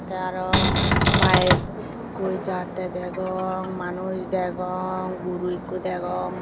tey aro baekkoi jattey degong manus degong guru ikko degong.